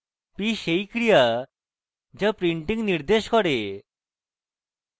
p সেই ক্রিয়া যা printing p নির্দেশ করে